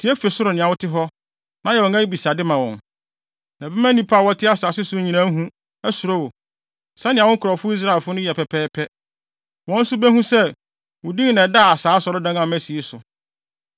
tie fi ɔsoro nea wote hɔ, na yɛ wɔn abisade ma wɔn. Na ɛbɛma nnipa a wɔte asase so nyinaa ahu, asuro wo, sɛnea wo nkurɔfo Israelfo no yɛ pɛpɛɛpɛ. Wɔn nso behu sɛ, wo din na ɛda saa Asɔredan a masi yi so.